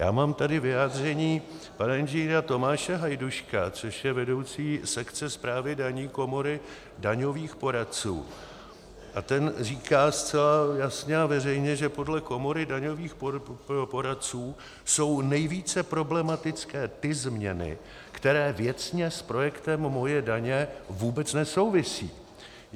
Já mám tady vyjádření pana Ing. Tomáše Hajduška, což je vedoucí sekce správy daní Komory daňových poradců, a ten říká zcela jasně a veřejně, že podle Komory daňových poradců jsou nejvíce problematické ty změny, které věcně s projektem Moje daně vůbec nesouvisejí.